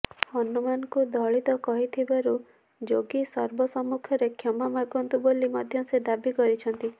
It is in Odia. ହନୁମାନଙ୍କୁ ଦଳିତ କହିଥିବାରୁ ଯୋଗୀ ସର୍ବ ସମ୍ମୁଖରେ କ୍ଷମାମାଗନ୍ତୁ ବୋଲି ମଧ୍ୟ ସେ ଦାବୀ କରିଛନ୍ତି